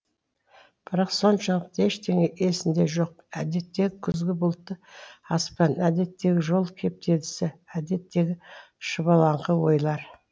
бірақ соншалықты ештеңе есінде жоқ әдеттегі күзгі бұлтты аспан әдеттегі жол кептелісі әдеттегі шұбалаңқы ойлар